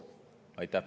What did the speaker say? Aitäh!